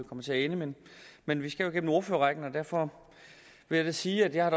kommer til at ende men vi skal jo igennem ordførerrækken og derfor vil jeg sige at jeg